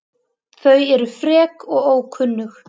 Þau eru frek og ókunnug.